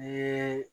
Ni